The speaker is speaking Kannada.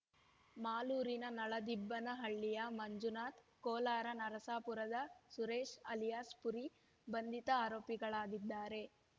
ಮಾಲೂರಿನ ನಳದಿಬ್ಬನಹಳ್ಳಿಯ ಮಂಜುನಾಥ್ ಕೋಲಾರ ನರಸಪುರದ ಸುರೇಶ್ ಅಲಿಯಾಸ್ ಪುರಿ ಬಂಧಿತ ಆರೋಪಿಗಳಾಗಿದ್ದಾರೆ